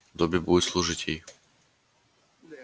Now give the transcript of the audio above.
добби будет служить ей